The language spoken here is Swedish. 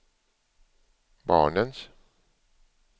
barnens